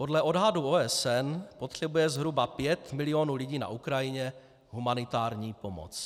Podle odhadů OSN potřebuje zhruba 5 milionů lidí na Ukrajině humanitární pomoc.